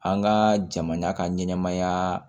An ka jamana ka ɲɛnɛmaya